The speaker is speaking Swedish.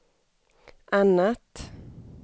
annat